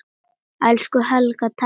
Elsku Helga, takk fyrir allt.